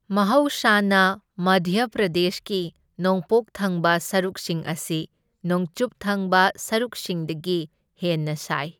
ꯃꯍꯧꯁꯥꯅ ꯃꯙ꯭ꯌ ꯄ꯭ꯔꯗꯦꯁꯀꯤ ꯅꯣꯡꯄꯣꯛ ꯊꯪꯕ ꯁꯔꯨꯛꯁꯤꯡ ꯑꯁꯤ ꯅꯣꯡꯆꯨꯞ ꯊꯪꯕ ꯁꯔꯨꯛꯁꯤꯡꯗꯒꯤ ꯍꯦꯟꯅ ꯁꯥꯏ꯫